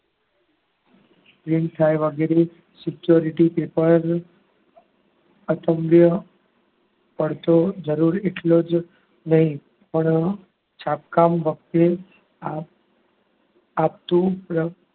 Print થાય એવા security paper જરૂરી એટલો જ નહીં પણ છાપકામ વખતે આપઆપતું